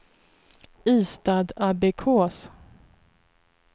Ystadabbekås